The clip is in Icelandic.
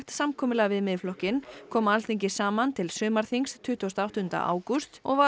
samkomulag við Miðflokkinn kom Alþingi saman til sumarþings tuttugasta og áttunda ágúst og var